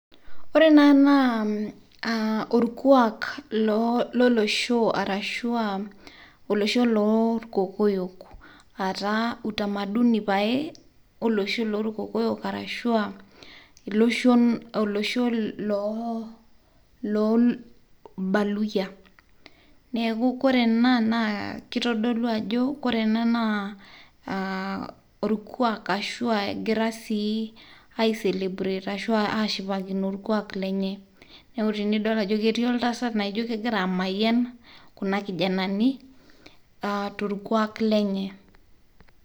ore enaa naa okuak lolosho arashu olosho lolkokoyo etaa utamaduni pae olosho lolkokoyo arashu aa iloshon arashu olosho lolbaluyia neaku kore ena naa kitodolu ajo wore ena naa aa olkuak ashu aa egira sii aicelebrate ashu ashipakino olkuaak lenye neaku enidol ajoo eti oltasat naijio kegira amayian kuna kijanani aa tolkuak lenye